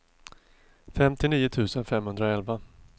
fyrtionio tusen femhundraelva